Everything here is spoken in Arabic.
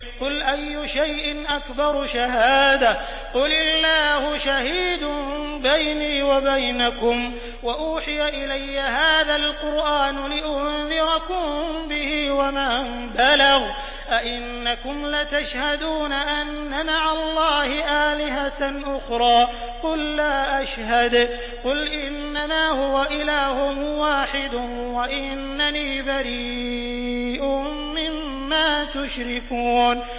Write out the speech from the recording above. قُلْ أَيُّ شَيْءٍ أَكْبَرُ شَهَادَةً ۖ قُلِ اللَّهُ ۖ شَهِيدٌ بَيْنِي وَبَيْنَكُمْ ۚ وَأُوحِيَ إِلَيَّ هَٰذَا الْقُرْآنُ لِأُنذِرَكُم بِهِ وَمَن بَلَغَ ۚ أَئِنَّكُمْ لَتَشْهَدُونَ أَنَّ مَعَ اللَّهِ آلِهَةً أُخْرَىٰ ۚ قُل لَّا أَشْهَدُ ۚ قُلْ إِنَّمَا هُوَ إِلَٰهٌ وَاحِدٌ وَإِنَّنِي بَرِيءٌ مِّمَّا تُشْرِكُونَ